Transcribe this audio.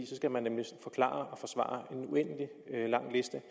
så skal man nemlig forklare og forsvare en uendelig lang liste